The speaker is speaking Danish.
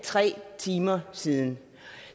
tre timer siden